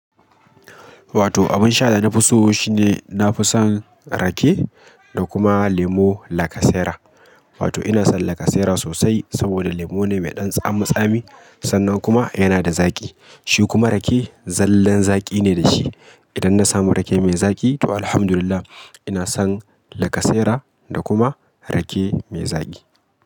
Wato abin sha da na fi so shine nafi son rake da kuma lemo lacasera. Wato ina son lacasera sosai saboda lemo ne mai ɗan tsami tsami sannan kuma yana da zaƙi. Shi kuma rake zallan zaƙi ne da shi. Idan na samu rake mai zaƙi to alhamdulillah ina son lacasera da kuma rake mai zaƙi.